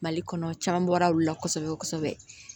Mali kɔnɔ caman bɔra olu la kosɛbɛ kosɛbɛ